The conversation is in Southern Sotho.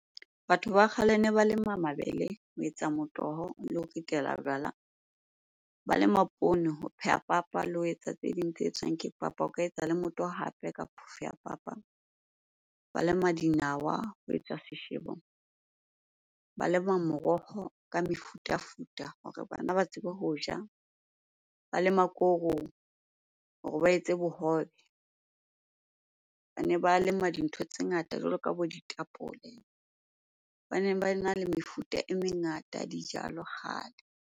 Batho ba kgale ne ba lema mabele ho etsa motoho le ho ritela jwala. Ba lema poone ho pheha papa le ho etsa tse ding tse etswang ke papa, o ka etsa le motoho hape ka phoofo ya papa. Ba lema dinawa ho etswa seshebo, ba lema moroho ka mefutafuta hore bana ba tsebe ho ja. Ba lema koro hore ba etse bohobe. Bane ba lema dintho tse ngata jwalo ka bo ditapole. Ba neng ba ena le mefuta e mengata ya dijalo kgale.